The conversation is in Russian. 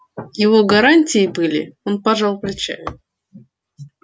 его гарантии были он пожал плечами